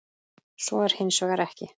Svo er hins vegar ekki.